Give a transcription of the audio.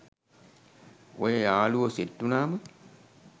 ඔය යාළුවො සෙට් උනාම